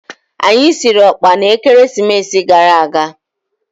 Anyi siri ọkpa na Ekeresimesi gara aga.